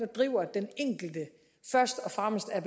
driver den enkelte først og fremmest er